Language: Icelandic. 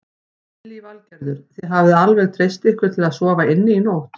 Lillý Valgerður: Þið hafið alveg treyst ykkur til að sofa inni í nótt?